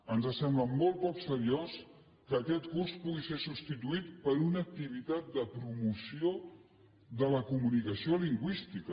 ens sembla molt poc seriós que aquest curs pugui ser substituït per una activitat de promoció de la comunicació lingüística